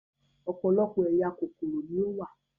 Ọ̀pọ̀lọpọ̀ ẹ̀yà kòkòrò ni ó wà